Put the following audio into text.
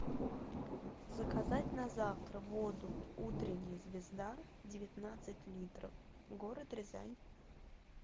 заказать на завтра воду утренняя звезда девятнадцать литров город рязань